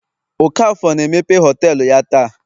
okafor na emepe họtelu ya taa